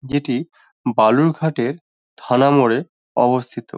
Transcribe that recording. যেটি বালুরঘাটে থানা মোড়ে অবস্থিত।